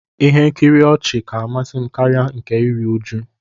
Ihe nkiri ihe ọchị ka amasi m karia nke iri uju